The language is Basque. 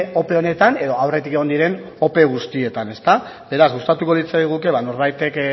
ope honetan edo aurretik egon diren ope guztietan beraz gustatuko litzaiguke norbaitek